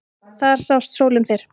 Þar sást sólin fyrr.